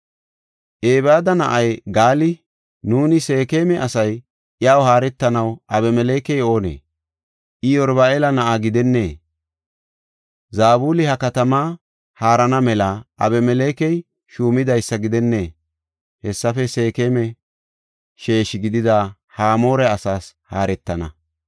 Ebeeda na7ay Gaali, “Nuuni Seekema asay iyaw haaretanaw Abimelekey oonee? I Yeruba7aala na7aa gidennee? Zabuli ha katamaa haarana mela Abimelekey shuumidaysa gidennee? Hessafe Seekema sheeshi gidida Hamoore asaas haaretana.